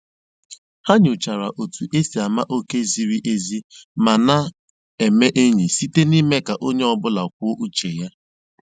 Ha nyochara otu e si ama oké ziri ezi ma a na-eme enyi, site n'ime ka onye ọ bụla kwuo uche ya